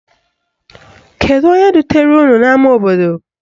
Kedu onye dutere unu n' ama obodo?